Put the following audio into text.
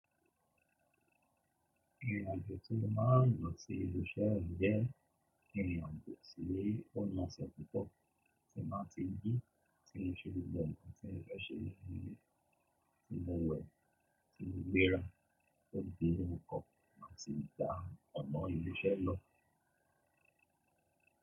Irin ajo tí mó máa rin lọ sí ibi iṣẹ́ mi jẹ́ irinajo ti o na ṣe pupo tí máa ti ji, tí mó ṣe gbogbo ǹkan tí mo fẹ́ ṣe ní ilé, tí mo wẹ̀, tí mo gbéra, tó di inú okọ́, má sì gba ọ̀nà ilé iṣẹ́ lọ.